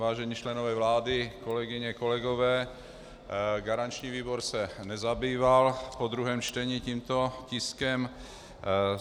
Vážení členové vlády, kolegyně, kolegové, garanční výbor se nezabýval po druhém čtení tímto tiskem.